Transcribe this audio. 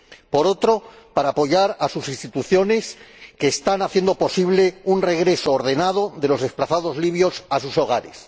por otro, para apoyar a sus instituciones, que están haciendo posible un regreso ordenado de los desplazados libios a sus hogares.